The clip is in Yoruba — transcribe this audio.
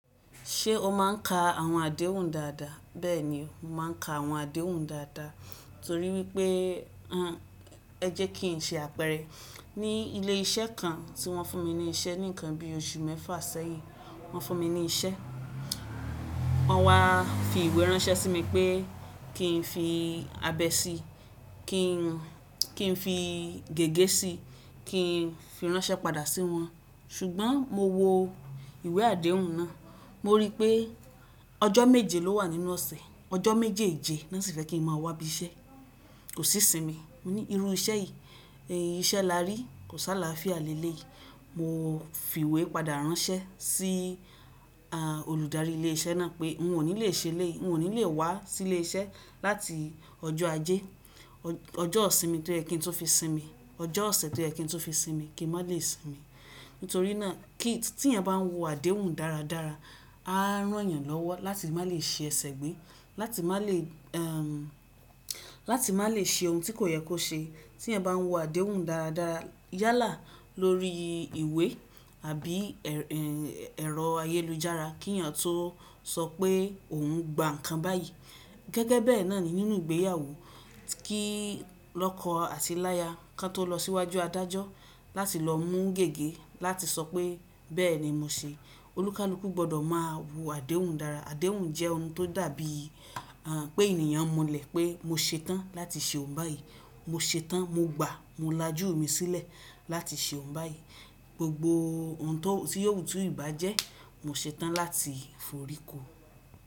Ṣé o máà ń ka àwọn àdéhùn dáadáa? Bẹ́ẹ̀ni, mo máa ń ka àwọn àdéhùn dáadáa torí wípé ẹ jẹ́ kí n ṣe àpẹẹrẹ. Ni ilé iṣẹ́ kan tí wọ́n fún mi ní isẹ́ nìkan bí oṣù mẹ́fà sẹ́yìn. Wọ́n fún mi ní isẹ́, wọ́n wá fi ìwé ránṣẹ́ sí mi pé kí n fi abẹ sí i, kí n fi gègé sí i, kí n fi ránṣẹ́ padà sí wọn. Ṣùgbọ́n mo wo ìwé àdéhùn náà, mo rí pé ọjọ́ méje ló wà nínú ọ̀sẹ̀, ọjọ́ méjèèjì wọ́n sì fẹ́ kí n máa wá ibi iṣẹ́. Kò sí sinmi, mo ní irú iṣẹ́ yìí, iṣẹ́ là rí kò sá láfiya lélé yi. Mo fi ìwé padà ránṣẹ́ sí olùdarí ilé iṣẹ́ náà pé n ò ní lè ṣe lé, n ò ní lè wá sí ilé iṣẹ́ láti ọjọ́ ajé. Ọjọ́ òsinmi tó yẹ kí n tó fi sinmi, ọjọ́ ọ̀sẹ̀ tó yẹ kí n tó fi sinmi kì í má lè sinmi. Nítorí náà kí tí iyan bá ń wo àdéhùn dáradára, á rán yàn lọ́wọ́ láti má lè ṣi ẹsẹ̀ gbé, láti má lè, ẹm, láti má lè ṣe ohun tí kò yẹ kó ṣe. Tí ẹ bá ń wo àdéhùn dáradára, yálà lórí ìwé àbí ẹ̀rọ ayélujára kí yan tó sọ pé òun gba nǹkan báyìí. Gẹ́gẹ́ bẹ́ẹ̀ náà ni nínú ìgbéyàwó kí lọ́kọ àti láya kan tó lọ síwájú adájọ́ láti lọ mú gègé láti sọ pé bẹ́ẹ̀ ni mo se. Olúkalúkú gbọdọ̀ máa wo àdéhùn dára. Àdéhùn jẹ́ ohun tó dàbí pé ènìyàn mulẹ̀ pé mo ṣetán láti ṣe ohun báyìí. Mo ṣetán, mo gba, mo lajú mi sílẹ̀ láti ṣe ohun báyìí. Gbogbo ohun tó, tí yóò tú ìbá jẹ́ mo ṣetán láti foríko.